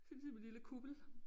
Så kan man se med lille kuppel